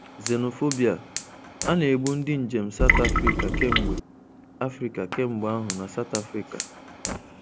Xenophobia: A na-egbu ndị njem South Africa kemgbe Africa kemgbe ahụ na South Africa